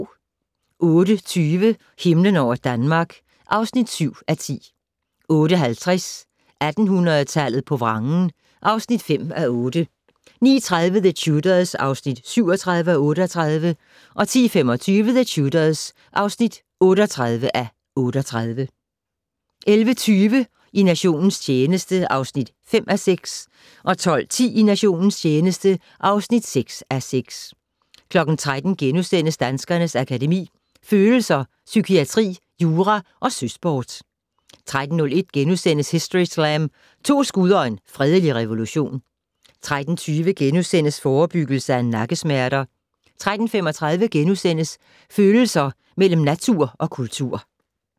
08:20: Himlen over Danmark (7:10) 08:50: 1800-tallet på vrangen (5:8) 09:30: The Tudors (37:38) 10:25: The Tudors (38:38) 11:20: I nationens tjeneste (5:6) 12:10: I nationens tjeneste (6:6) 13:00: Danskernes Akademi: Følelser, Psykiatri, Jura & Søsport * 13:01: Historyslam - To skud og en fredelig revolution * 13:20: Forebyggelse af nakkesmerter * 13:35: Følelser mellem natur og kultur *